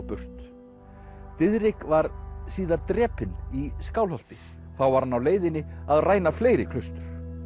burt Diðrik var síðar drepinn í Skálholti þá var hann á leiðinni að ræna fleiri klaustur